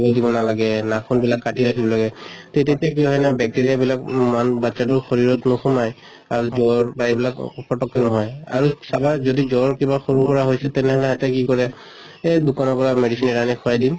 ব দিব নালাগে, নাখুন বিলাক কাটি ৰাখিব লাগে তে তেতিয়া কি হয় ন bacteria বিলাক ইমান বাচ্ছা টোৰ শৰীৰত নোসোমায়। আৰি জ্বৰ বা এইবিলাক ফটককে নহয়। আৰি কিবা যদি জ্বৰ কিবা সৰু সুৰা হৈছে তেনেহʼলে ইহঁতে কি কৰে এ দোকানৰ পৰা medicine এটা আনি খোৱাই দিম